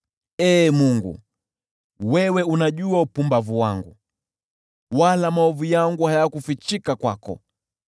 Ee Mungu, wewe unajua upumbavu wangu, wala hatia yangu haikufichika kwako.